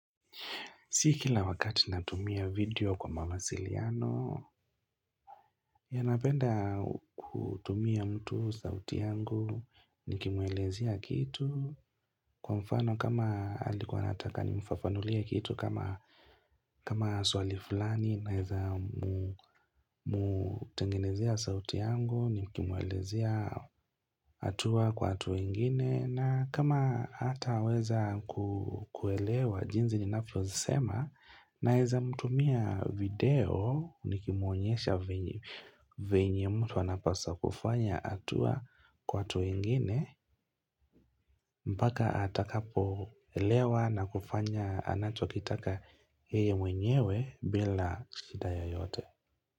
Si kila wakati natumia video kwa mawasiliano ya napenda kutumia mtu sauti yangu Nikimwelezea kitu Kwa mfano kama alikuwa anataka nimfafanulie kitu kama kama swali fulani naweza mutengenezea sauti yangu Nikimwelezea hatua kwa hatua ingine na kama hata weza kuelewa jinsi ninavyo sema Naweza mtumia video nikimuonyesha venye mtu anapaswa kufanya hatua kwa hatua ingine mpaka atakapo elewa na kufanya anachokitaka yeye mwenyewe bila shida yoyote.